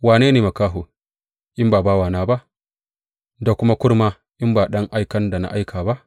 Wane ne makaho in ba bawana ba, da kuma kurma in ba ɗan aikan da na aika ba?